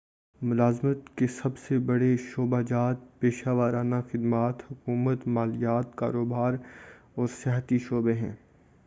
ملازمت کے سب سے بڑے شعبہ جات پیشہ ورانہ خدمات حکومت مالیات کاروبار اور سیاحتی شعبے ہیں